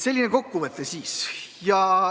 Selline kokkuvõte siis.